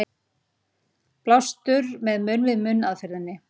Blástur með munn-við-munn aðferðinni.